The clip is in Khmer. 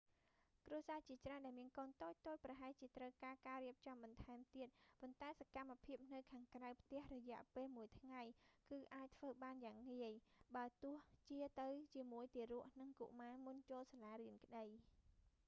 គ្រួសារជាច្រើនដែលមានកូនតូចៗប្រហែលជាត្រូវការ ការរៀបចំបន្ថែមទៀត ប៉ុន្តែសកម្មភាពនៅខាងក្រៅផ្ទះរយៈពេលមួយថ្ងៃ គឺអាចធ្វើបានយ៉ាងងាយ បើទោះជាទៅជាមួយទារក និងកុមារមុនចូលសាលារៀនក្តី